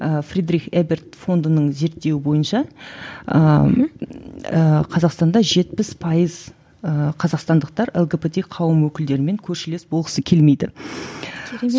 ыыы фридрих эберт фондының зерттеуі бойынша ыыы қазақстанда жетпіс пайыз ыыы қазақстандықтар лгбт қауым өкілдерімен көршілес болғысы келмейді